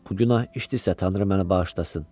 Bu günah işdisə tanrı məni bağışlasın.